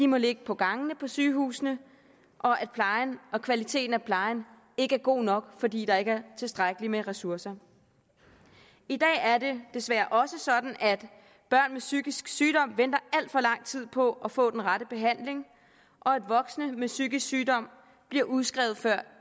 må ligge på gangene på sygehusene og at kvaliteten af plejen ikke er god nok fordi der ikke tilstrækkeligt med ressourcer i dag er det desværre også sådan at børn med psykisk sygdom venter alt for lang tid på at få den rette behandling og at voksne med psykisk sygdom bliver udskrevet før